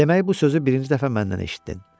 Demək, bu sözü birinci dəfə məndən eşitdin.